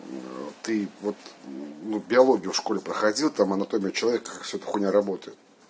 ты вот ну биологию в школе проходил там анатомия человека как вся эта хуйня работает